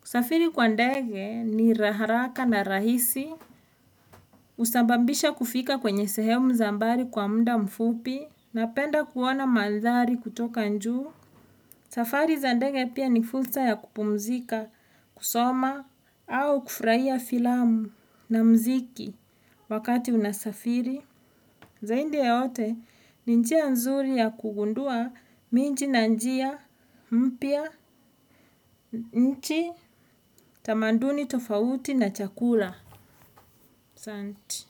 Kusafiri kwa ndege ni haraka na rahisi. Husababisha kufika kwenye sehemu za mbali kwa muda mfupi. Napenda kuona mandhari kutoka njuu. Safari za ndege pia ni fursa ya kupumzika, kusoma, au kufurahia filamu na muziki wakati unasafiri. Zaindi ya yote, ni njia nzuri ya kugundua minji na njia mpya, nchi, tamanduni tofauti na chakula. Asanti.